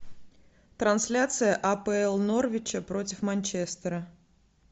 трансляция апл норвича против манчестера